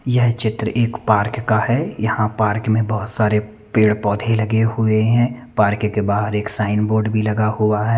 यह चित्र एक पार्क का है यहाँ पार्क में बहोत सारे पेड़-पोधे लगे हुए है पार्क के बाहर एक साइन बोर्ड भी लगा हुआ है।